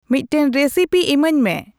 ᱢᱤᱫᱴᱟᱝ ᱨᱮᱥᱤᱯᱤ ᱤᱢᱟᱹᱧᱢᱮ ᱾